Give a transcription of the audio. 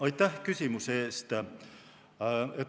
Aitäh küsimuse eest!